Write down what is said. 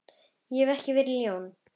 Ég hef ekki verið ljón.